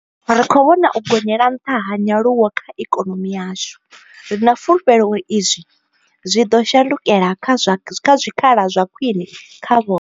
Ri khou vhona u gonyela nḽha ha nyaluwo kha ikonomi yashu, ri na fulufhelo uri izwi zwi ḽo shandukela kha zwikhala zwa khwine zwa vho.